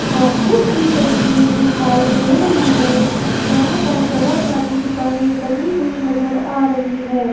Market की तस्वीर दिखाई दे रही है जहां पर बहुत सारी दुकानें बनी हुई नजर आ रही है।